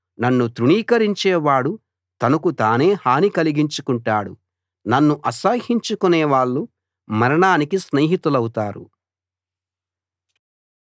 నన్ను తృణీకరించేవాడు తనకు తానే హాని కలిగించుకుంటాడు నన్ను అసహ్యించుకొనే వాళ్ళు మరణానికి స్నేహితులౌతారు